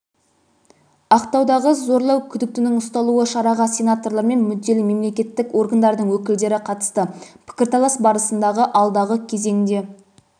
ақтаудағы зорлау күдіктінің ұсталуы шараға сенаторлар мен мүдделі мемлекеттік органдардың өкілдері қатысты пікірталас барысында алдағы кезеңде